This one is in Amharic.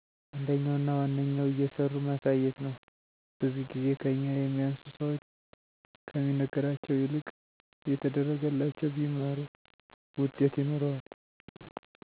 አንደኛው እና ዋነኛው እየሠሩ ማሳየት ነዉ። ብዙ ጊዜ ከኛ የሚያንሱ ሠዎች ከሚነገራቸው ይልቅ እየተደረገላቸው ቢማሩ ውጤት ይኖረዋል።